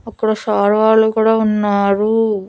అక్కడ సార్ వాళ్లు కూడా ఉన్నారు.